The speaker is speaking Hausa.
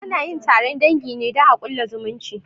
Anayin taron dangi ne don a ƙulla zumunci